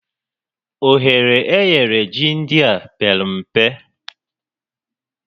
Ohere e nyere ji ndịa pere mpe